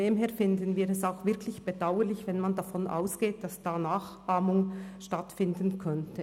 Daher finden wir es auch wirklich bedauerlich, wenn man davon ausgeht, dass da Nachahmung stattfinden könnte.